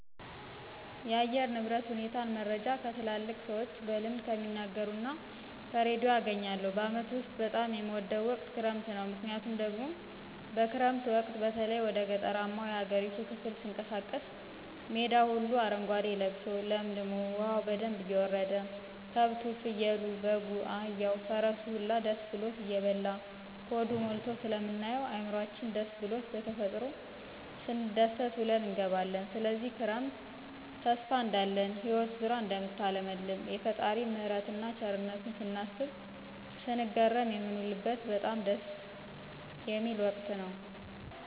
የአየር ንብረት ሁኔታን መረጃ ከትላልቅ ሰዎች በልምድ ከሚናገሩት እና ከርዲዮ አገኛለሁ። በአመቱ ውስጥ በጣም የምወደው ወቅት ክረምት ነው። ምክንያቱ ደግሞ በክረምት ወቅት በተለይ ወደ ገጠራማው የሀገሪቱ ክፍል ስንቀሳቀስ ሜዳው ሁሉ አረጓዴ ልብሶ ለምልሞ፣ ዉሀው በደንብ እየወረደ፣ ከብቱ፣ ፍየሉ፣ በጉ፣ አህያው፣ ፈረሱ ሁላ ደስ ብሎት እየበላ ሆዱ ሞልቶ ስለምናየው እዕምሯችን ደስስ ብሉት በተፈጥሮ ስንደሰት ውለን እንገባለን። ስለዚህ ክረምት ተስፋ እንዳለን ህይወት ዙራ እደምታለመልም፣ የፈጣሪን ምህረትን እና ቸርነቱን ስናስብ ስንገረም የንውልበት በጣም ደስ ወቅት ነው።